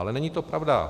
Ale není to pravda.